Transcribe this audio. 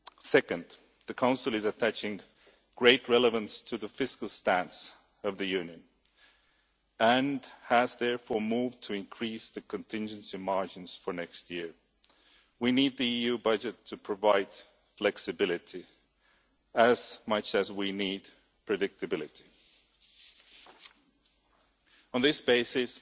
Second, the Council attaches great relevance to the fiscal stance of the Union and has therefore moved to increase the contingency margins for next year. We need the EU budget to provide flexibility as much as we need predictability. On this basis,